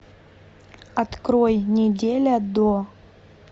открой неделя до